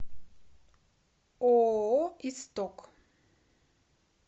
ооо исток